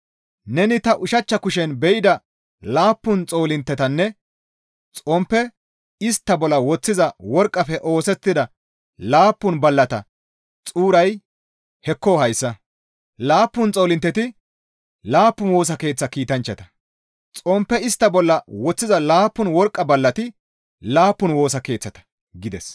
Neni ta ushachcha kushen be7ida laappun xoolinttetanne xomppe istta bolla woththiza worqqafe oosettida laappun ballata xuuray hekko hayssa; laappun xoolintteti laappun Woosa Keeththa kiitanchchata; xomppe istta bolla woththiza laappun worqqa ballati laappun Woosa Keeththata» gides.